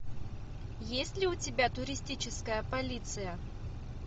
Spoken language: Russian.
есть ли у тебя туристическая полиция